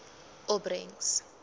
opbrengs